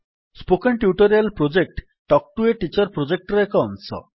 spoken tutorial project talk to a teacher ପ୍ରୋଜେକ୍ଟର ଏକ ଅଂଶ